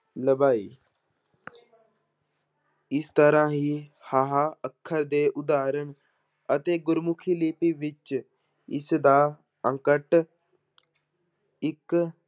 ਲਭਾਈ ਇਸ ਤਰ੍ਹਾਂ ਹੀ ਹਾਹਾ ਅੱਖਰ ਦੇ ਉਦਾਹਰਣ ਅਤੇ ਗੁਰਮੁਖੀ ਲਿਪੀ ਵਿੱਚ ਇਸਦਾ ਅੰਕਟ ਇੱਕ